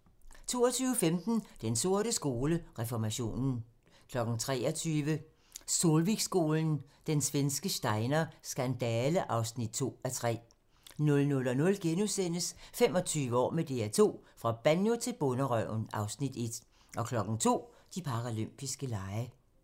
22:15: Den sorte skole: Reformationen 23:00: Solvikskolen – Den svenske Steiner skandale (2:3) 00:00: 25 år med DR2 - fra Banjo til Bonderøven (Afs. 1)* 02:00: De paralympiske lege